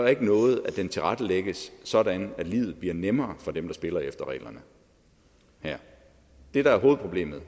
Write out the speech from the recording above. noget at den tilrettelægges sådan at livet bliver nemmere for dem der spiller efter reglerne her det der er hovedproblemet